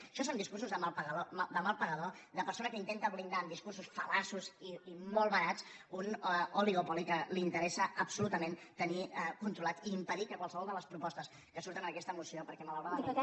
això són discursos de mal pagador de persona que intenta blindar amb discursos fal·laços i molt barats un oligopoli que li interessa absolutament tenir controlat i impedir que qualsevol de les propostes que surten en aquesta moció perquè malauradament